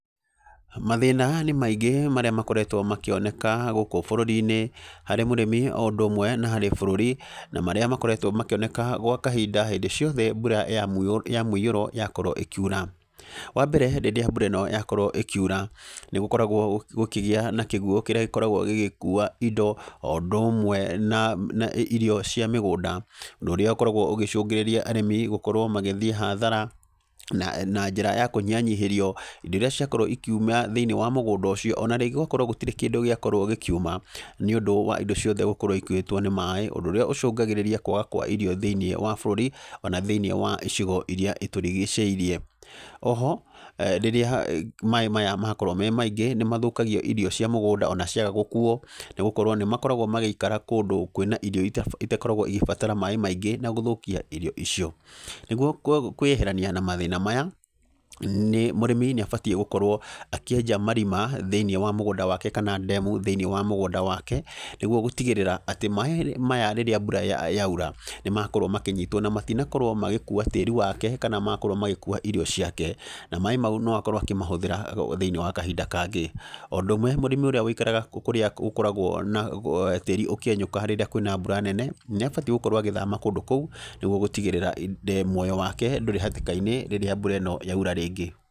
Mathĩna nĩ maingĩ marĩa makoretwo makĩoneka gũkũ bũrũri-inĩ, harĩ mũrĩmi o ũndũ ũmwe na harĩ bũrũri, na marĩa makoretwo makĩoneka gwa kahinda hĩndĩ ciothe mbura ya ya mũiyũro yakorwo ĩkiura. Wa mbere rĩrĩa mbura ĩno yakorwo ĩkiura, nĩ gũkoragwo gũkĩgĩa na kĩguũ kĩrĩa gĩkoragwo gĩgĩkuua indo, o ũndũ ũmwe na na irio cia mĩgũnda. Ũndũ ũrĩa ũkoragwo ũgĩcũngĩrĩria arĩmi gũkorwo magĩthiĩ hathara, na na njĩra ya kũnyihanyihĩrio indo irĩa ciakorwo ikiuma thĩiniĩ wa mũgũnda ũcio. Ona rĩngĩ gũgakorwo gũtirĩ kĩndũ gĩakorwo gĩkiuma nĩ ũndũ wa indo ciothe gũkorwo ikuĩtwo nĩ maĩ. Ũndũ ũrĩa ũcũngagĩrĩria kwaga gũkorwo na irio thĩiniĩ wa bũrũri, ona thĩiniĩ wa icigo irĩa itũrigicĩirie. Oho, rĩrĩa maĩ maya makorwo me maingĩ, nĩ mathũkagia irio cia mũgũnda ona ciaga gũkuuo, nĩ gũkorwo nĩ makoragwo magĩikara kũndũ kwĩna irio itakoragwo igĩbatara maĩ maingĩ na gũthũkia irio icio. Nĩguo kwĩyeherania na mathĩna maya, nĩ mũrĩmi nĩ abatiĩ gũkorwo akĩenja marĩma thĩiniĩ wa mũgũnda wake kana ndemu thĩiniĩ wa mũgũnda wake, nĩguo gũtigĩrĩra atĩ, maĩ maya rĩrĩa mbura yaura, nĩ makorwo makĩnyitwo. Na matinakorwo magĩkuua tĩri wake, kana makorwo magĩkuua irio ciake. Na maĩ mau no akorwo akĩmahũthĩra thĩini wa kahinda kangĩ. O ũndũ ũmwe mũrĩmi ũrĩa wĩikaraga kũrĩa gũkoragwo na tĩri ũkĩenyũka rĩrĩa kwĩna mbura nene, nĩ abatiĩ gũkorwo agĩthama kũndũ kũu, nĩguo gũtigĩrĩra muoya wake ndũrĩ hatĩka-inĩ, rĩrĩa mbura ĩno yaura rĩngĩ.